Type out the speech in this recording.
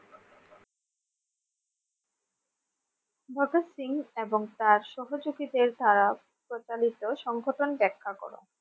ভগৎ সিং এবং তার সহযোগীদের দ্বারা প্রচলিত সংগঠন ব্যাখ্যা করো।